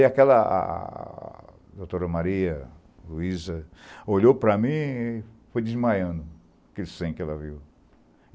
aquela ah doutora Maria Luiza olhou para mim e foi desmaiando, aquele sangue que ela viu.